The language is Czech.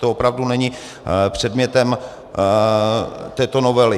To opravdu není předmětem této novely.